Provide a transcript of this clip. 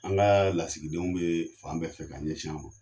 An ka lasigidenw bɛ fan bɛɛ fɛ ka ɲɛsin an ma.